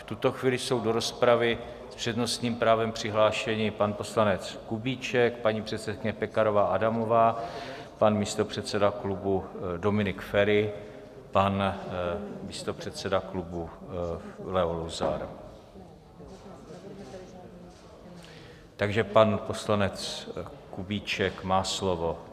V tuto chvíli jsou do rozpravy s přednostním právem přihlášeni pan poslanec Kubíček, paní předsedkyně Pekarová Adamová, pan místopředseda klubu Dominik Feri, pan místopředseda klubu Leo Luzar, takže pan poslanec Kubíček má slovo.